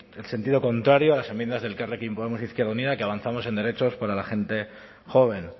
el sentido contrario a las enmiendas de elkarrekin podemos izquierda unida que avanzamos en derechos para la gente joven